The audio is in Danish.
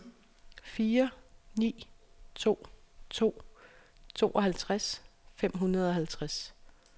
fire ni to to tooghalvtreds fem hundrede og halvtreds